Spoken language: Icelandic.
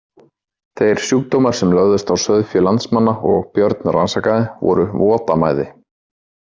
Þeir sjúkdómar sem lögðust á sauðfé landsmanna og Björn rannsakaði voru votamæði.